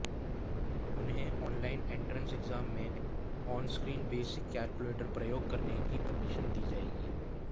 उन्हें online entrance exam में onscreen basic calculator प्रयोग करने की परमिशन दी जाएगी